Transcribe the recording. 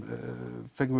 fengum